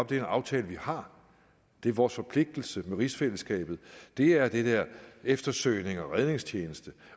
det er en aftale vi har det er vores forpligtelse med rigsfællesskabet det er det er eftersøgnings og redningstjeneste